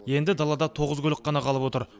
енді далада тоғыз көлік қана қалып отыр